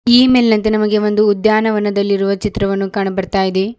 ಈ ಮೇಲಿನಂತೆ ನಮಗೆ ಒಂದು ಉದ್ಯಾನದಲ್ಲಿರುವ ಚಿತ್ರವನ್ನು ಕಾಣು ಬರ್ತಾ ಇದೆ.